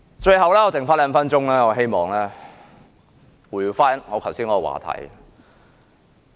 最後，餘下兩分鐘時間，我希望回到剛才的話題。